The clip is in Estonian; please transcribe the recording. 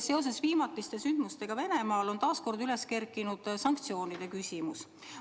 Seoses viimatiste sündmustega Venemaal on taas kord üles kerkinud sanktsioonide küsimus.